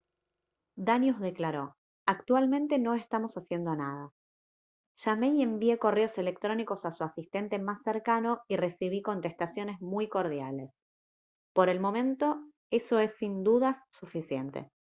danius declaró: «actualmente no estamos haciendo nada. llamé y envié correos electrónicos a su asistente más cercano y recibí contestaciones muy cordiales. por el momento eso es sin dudas suficiente»